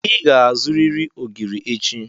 Ị ga-azụrịrị ogiri echi.